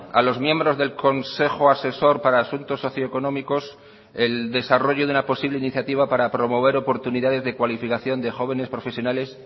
a los miembros del consejo asesor para asuntos socioeconómicos el desarrollo de una posible iniciativa para promover oportunidades de cualificación de jóvenes profesionales